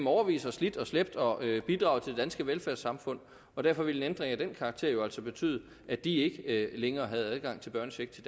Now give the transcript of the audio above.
årevis har slidt og slæbt og bidraget til det danske velfærdssamfund og derfor ville en ændring af den karakter jo altså betyde at de ikke længere havde adgang til børnecheck til